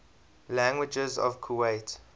languages of kuwait